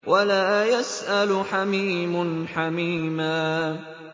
وَلَا يَسْأَلُ حَمِيمٌ حَمِيمًا